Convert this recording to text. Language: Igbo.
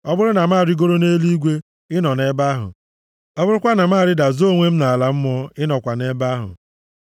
Ọ bụrụ na m arịgoro nʼeluigwe ị nọ nʼebe ahụ. Ọ bụrụkwa na m arịda zoo onwe m nʼala mmụọ, ị nọkwa nʼebe ahụ.